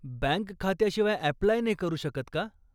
Bank खात्याशिवाय apply नाही करू शकत का?